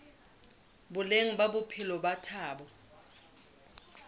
boleng ba bophelo ba batho